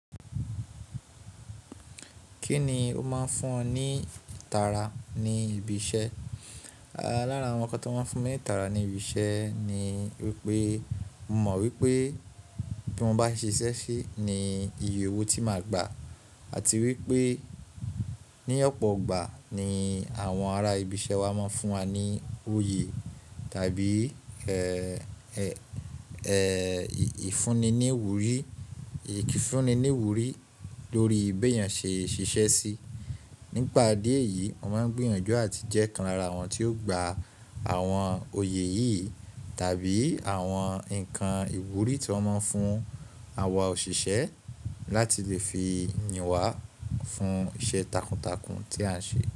Kíni ó máa ń fún ọ ní ìtara ní ibi iṣẹ́? Lára àwọn nǹkan tó máa ń fún mi ní ìtara ní ibi iṣẹ́ ni wípé mo mọ̀ wípé bí mo bá ṣe iṣẹ́ sí ni iye owó tí máa gba àti wípé ní ọ̀pọ̀ ọgbà nii àwọn ará ibi iṣẹ́ wa máa ń fún wa ní òye tàbí ìfunni ní ìwúrí lórí bí èèyàn ṣe iṣẹ́ sí. Nípa idí eyìí, mo máa ń gbìyànjú àti jẹ́ kan lára àwọn tí ó gba àwọn oyè yìí tàbí àwọn ǹkan ìwúrí tí wọ́n máń fún àwa òṣìṣẹ́ láti lè fi yìn wá fún iṣẹ́ takuntakun tí à ń ṣe.